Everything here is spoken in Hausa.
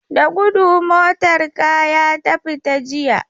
Da gudu motar kaya ta fita jiya.